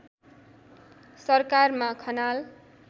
सरकारमा खनाल